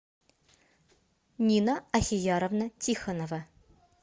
нина ахияровна тихонова